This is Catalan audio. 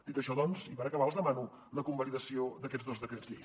dit això doncs i per acabar els demano la convalidació d’aquests dos decrets llei